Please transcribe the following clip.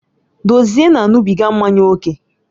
Dozie na-aṅụbiga mmanya ókè